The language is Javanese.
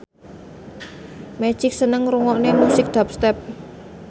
Magic seneng ngrungokne musik dubstep